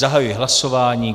Zahajuji hlasování.